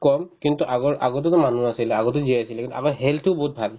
কম কিন্তু আগৰ~ আগতেতো মানুহ আছিলে আগতেও জীয়াই আছিলে কিন্তু আমাৰ health তো বহুত ভাল